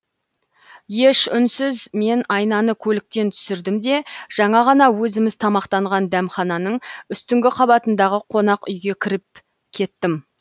еш үнсіз мен айнаны көліктен түсірдім де жаңа ғана өзіміз тамақтанған дәмхананың үстіңгі қабатындағы қонақ үйге ертіп кірдім